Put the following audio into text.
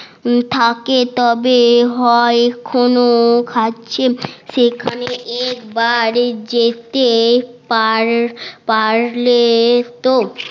থাকে তবে হয় কোন খাচ্ছে সেখানে একবার জেতে পারলে তো